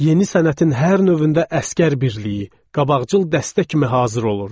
Yeni sənətin hər növündə əsgər birliyi, qabaqcıl dəstə kimi hazır olurduq.